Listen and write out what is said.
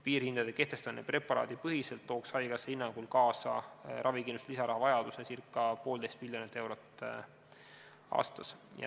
Piirhindade kehtestamine preparaadipõhiselt tooks haigekassa hinnangul kaasa ravikindlustuse lisarahavajaduse circa 1,5 miljonit eurot aastas.